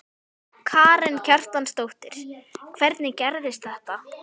Karen Kjartansdóttir: Hvernig gerðist þetta?